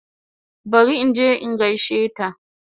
Bari inje in gaishe ta